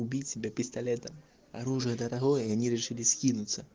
убить себя пистолетом оружие дорогое и они решили скинутся